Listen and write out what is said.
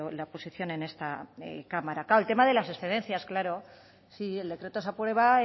la oposición en esta cámara claro el tema de las excedencias claro sí el decreto se aprueba